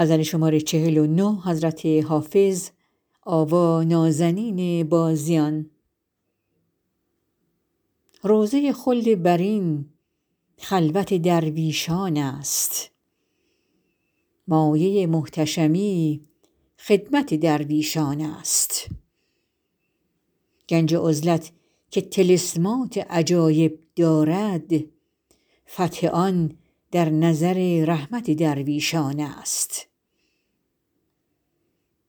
روضه خلد برین خلوت درویشان است مایه محتشمی خدمت درویشان است گنج عزلت که طلسمات عجایب دارد فتح آن در نظر رحمت درویشان است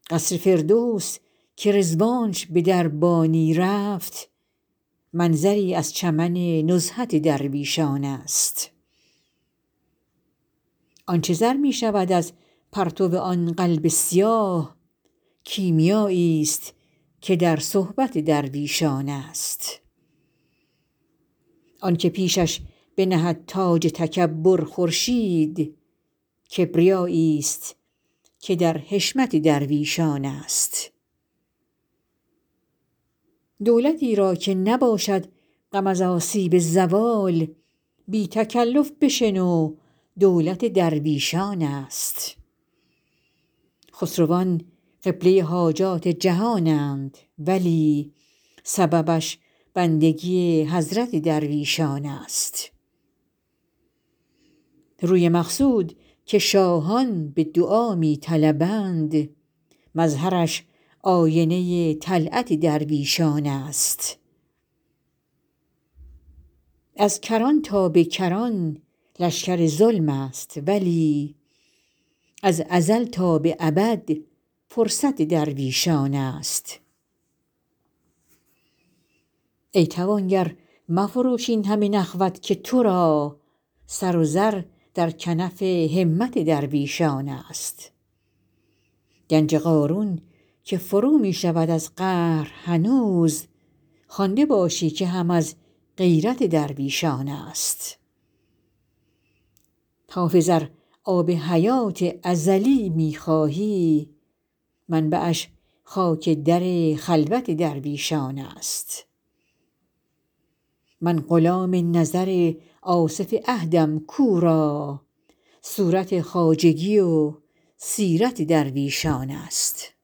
قصر فردوس که رضوانش به دربانی رفت منظری از چمن نزهت درویشان است آن چه زر می شود از پرتو آن قلب سیاه کیمیاییست که در صحبت درویشان است آن که پیشش بنهد تاج تکبر خورشید کبریاییست که در حشمت درویشان است دولتی را که نباشد غم از آسیب زوال بی تکلف بشنو دولت درویشان است خسروان قبله حاجات جهانند ولی سببش بندگی حضرت درویشان است روی مقصود که شاهان به دعا می طلبند مظهرش آینه طلعت درویشان است از کران تا به کران لشکر ظلم است ولی از ازل تا به ابد فرصت درویشان است ای توانگر مفروش این همه نخوت که تو را سر و زر در کنف همت درویشان است گنج قارون که فرو می شود از قهر هنوز خوانده باشی که هم از غیرت درویشان است حافظ ار آب حیات ازلی می خواهی منبعش خاک در خلوت درویشان است من غلام نظر آصف عهدم کو را صورت خواجگی و سیرت درویشان است